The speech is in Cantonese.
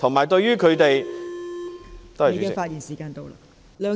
郭議員，你的發言時限到了。